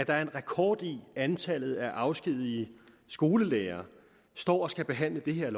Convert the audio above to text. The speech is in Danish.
er en rekord i antallet af afskedigede skolelærere står og skal behandle det her